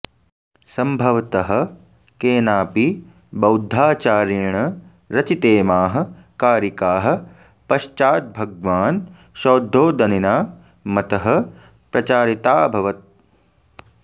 संभवतः केनाऽपि बौद्धाचार्येण रचितेमाः कारिकाः पश्चाद्भगवान् शौद्धोदनिना मतः प्रचारिताऽभवत्